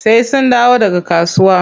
Sai sun dawo daga kasuwa.